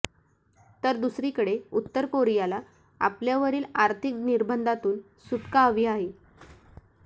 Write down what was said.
तर दुसरीकडे उत्तर कोरियाला आपल्यावरील आर्थिक निर्बंधातून सुटका हवी आहे